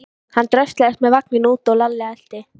Hann dröslaðist með vagninn út og Lalli elti.